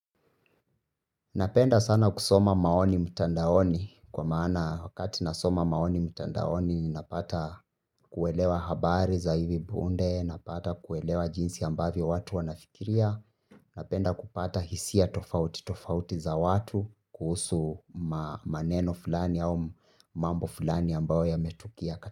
Napenda sana kusoma maoni mtandaoni kwa maana wakati nasoma maoni mtandaoni napata kuelewa habari za hivi punde napata kuelewa jinsi ambavyo watu wanafikiria. Napenda kupata hisia tofauti tofauti za watu kuhusu maneno fulani au mambo fulani ambayo yametukia kata.